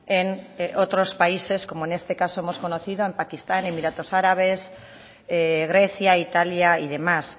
en otros países como en este caso hemos conocido en pakistán emiratos árabes grecia italia y demás